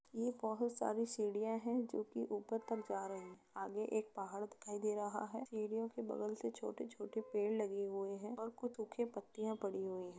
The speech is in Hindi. यह बहुत सारी सीढ़ियां हैं जो कि ऊपर तक जा रही है। आगे एक पहाड़ दिखाई दे रहा है सीढ़ियों के बगल से छोटे-छोटे पेड़ लगे हुए हैं और कुछ सुखी पत्तियां पड़ी हुई है।